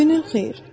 Günün xeyir.